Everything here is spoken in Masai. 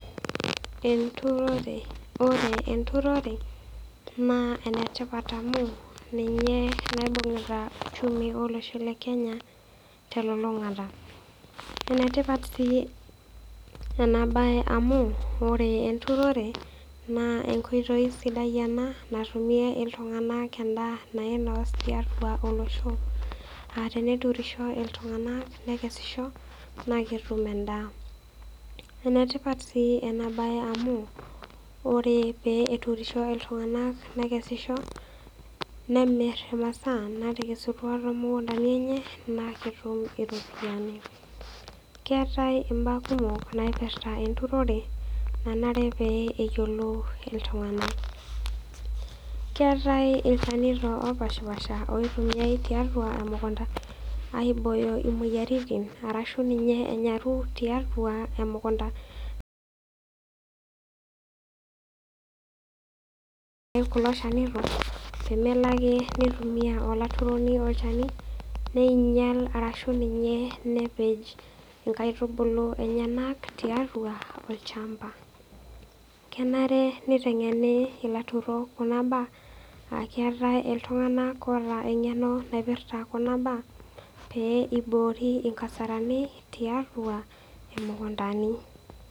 Eturore, ore eturore naa enetipat amu, ninye naibungita uchumi olosho le Kenya telulungata. Enetipat si ena bae amu, ore eturore naa enkoitoi sidai ena natumie iltunganak endaa nainos tiatua olosho. Ah teneturisho iltunganak nekesisho naa ketum endaa. Enetipat si ena bae amu ore pee eturishoi iltunganak nekesisho nemir imasaa nakesusua too mukutani enye naa ketum iropiyani. Keetae imbaa kumok naipirta eturore nanare pee eyiolou iltunganak. Keetae ilchanito opashipasha onare nitumiae tiatua emukunta aibooyo imoyiaritin arashu, ninye enyaru tiatua emukunta kulo shanito pee melo ake neitumia olaturoni olchani neinyial arashu ninye nepej inkaitubulu enyenak, tiatua olchamba. Kenare nitengeni ilaturok kuna baa akeetae iltunganak oota engeno naipirta kuna pee eiboori inkasarani tiatua imukuntani.